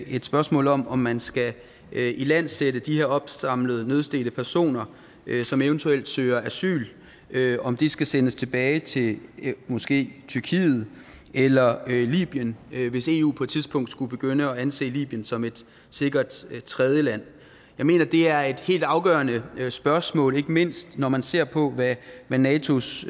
et spørgsmål om om man skal ilandsætte de her opsamlede nødstedte personer som eventuelt søger asyl om de skal sendes tilbage til måske tyrkiet eller libyen hvis eu på et tidspunkt skulle begynde at anse libyen som et sikkert tredjeland jeg mener at det er et helt afgørende spørgsmål ikke mindst når man ser på hvad natos